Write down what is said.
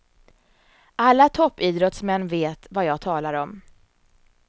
Alla toppidrottsmän vet vad jag talar om.